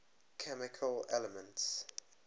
chemical elements